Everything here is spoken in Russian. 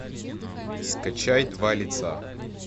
скачай два лица